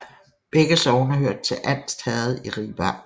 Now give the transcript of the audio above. Begge sogne hørte til Anst Herred i Ribe Amt